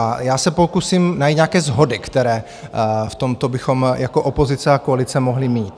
A já se pokusím najít nějaké shody, které v tomto bychom jako opozice a koalice mohli mít.